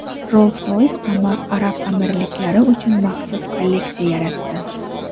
Rolls-Royce Arab Amirliklari uchun maxsus kolleksiya yaratdi.